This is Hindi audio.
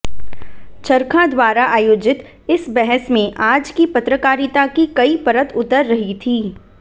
चरखा द्वारा आयोजित इस बहस में आज की पत्रकारिता की कई परत उतर रही थी